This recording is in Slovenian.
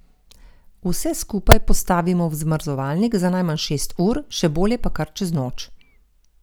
Vse skupaj postavimo v zmrzovalnik za najmanj šest ur, še bolje pa kar čez noč.